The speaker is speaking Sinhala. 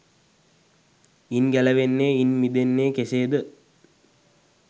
ඉන් ගැලවෙන්නේ ඉන් මිදෙන්නේ කෙසේද?